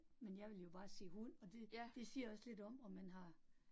Men jeg ville jo bare sige hund, og det det siger jo også lidt om, om man har